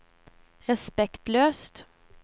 respektløst